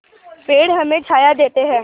पेड़ हमें छाया देते हैं